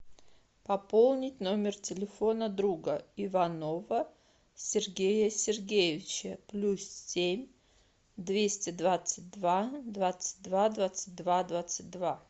пополнить номер телефона друга иванова сергея сергеевича плюс семь двести двадцать два двадцать два двадцать два двадцать два